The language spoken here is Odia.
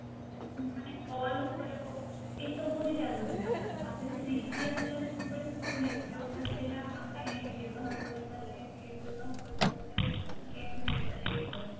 ମାନେ call ଉପରେ ହଉ ଏସବୁରେ ଚାଲୁଥିଲା ତା ପରେ three g ଆସିଲା ଯେତେବେଳେ network ଥିଲା ଆମେ ବ୍ୟବହାର କରିପାରିଲେ ଆମେ net ବ୍ୟବହାର କରିପାରିଲେ ଗେମ ଖେଳିପାରିଲେ ଏସବୁ